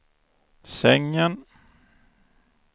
sängen